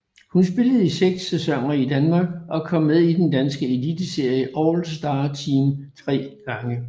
Hun spillede i seks sæsoner i Danmark og kom med i den danske eliteserie All Star Team tre gange